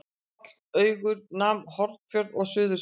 Hrollaugur nam Hornafjörð og Suðursveit.